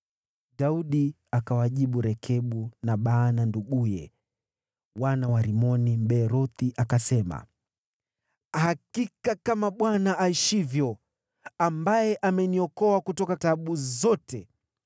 Daudi akawajibu Rekabu na Baana nduguye, wana wa Rimoni, Mbeerothi, akasema, “Hakika kama Bwana aishivyo, ambaye ameniokoa kutoka taabu zote,